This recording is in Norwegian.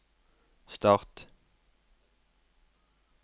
start